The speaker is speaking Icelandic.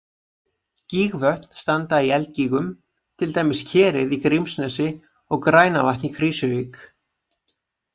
Gígvötn standa í eldgígum, til dæmis Kerið í Grímsnesi og Grænavatn í Krýsuvík.